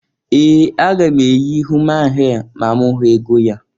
Ee! Aga m eyi human hee ma m hụ ego ya.